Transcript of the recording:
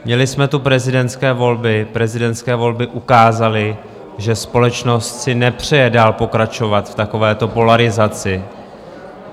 Měli jsme tu prezidentské volby, prezidentské volby ukázaly, že společnost si nepřeje dál pokračovat v takovéto polarizaci.